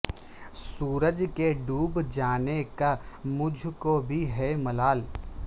سورج کے ڈوب جانے کا مجھ کو بھی ہے ملال